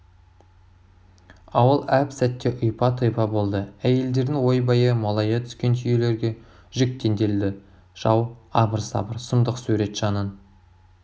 ауыл әп сәтте ұйпа-тұйпа болды әйелдердің ойбайы молая түскен түйелерге жүк теңделді жау абыр-сабыр сұмдық сурет жанын